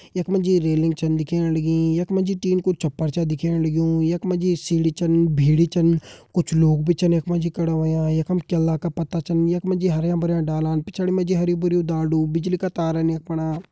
यख मा जी रेलिंग छन दिखेण लगीं यख मा जी टीन कु छप्पर छा दिखेण लग्युं यख मा जी सीढ़ी छन भिड़ी छन कुछ लोग भी छन यख मा जी खड़ा होयां यखम केला का पत्ता छन यख मा जी हरयां भरयां डालान पिछाड़ी मा जी हरयूं भरयूं ढालदु बिजली का तारन यख फणा।